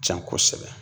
Can kosɛbɛ